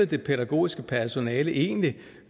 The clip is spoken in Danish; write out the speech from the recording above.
det pædagogiske personale egentlig